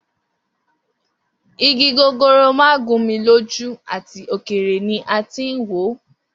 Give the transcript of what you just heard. Igi gogoro ma gun mi loju ati okere ni a tin wo.